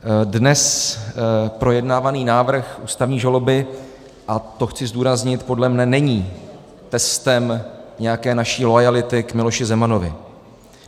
Dnes projednávaný návrh ústavní žaloby, a to chci zdůraznit, podle mne není testem nějaké naší loajality k Miloši Zemanovi.